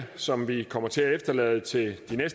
som vi kommer til at efterlade til